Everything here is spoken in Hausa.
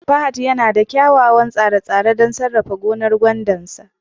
fahad yana da kyawawan tsare-tsare don sarrafa gonar gwandar sa